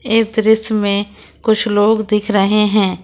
यह दृश्य में कुछ लोग दिख रहे हैं।